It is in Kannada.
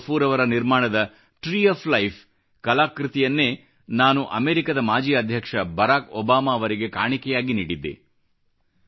ಅಬ್ದುಲ್ ಗಫೂರ್ ಅವರ ನಿರ್ಮಾಣದ ಟ್ರೀ ಒಎಫ್ ಲೈಫ್ ಕಲಾಕೃತಿಯನ್ನೇ ನಾನು ಅಮೇರಿಕದ ಮಾಜಿ ಅಧ್ಯಕ್ಷ ಬರಾಕ್ ಒಬಾಮಾ ಅವರಿಗೆ ಕಾಣಿಕೆಯಾಗಿ ನೀಡಿದ್ದೆ